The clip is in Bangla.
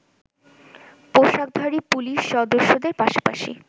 পোশাকধারী পুলিশ সদস্যদের পাশাপাশি